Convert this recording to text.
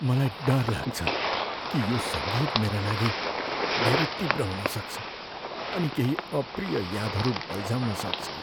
मलाई डर लाग्छ कि यो सङ्गीत मेरा लागि धेरै तीव्र हुन सक्छ अनि केही अप्रिय यादहरू बल्झाउन सक्छ।